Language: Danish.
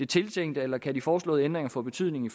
tiltænkte eller kan de foreslåede ændringer få betydning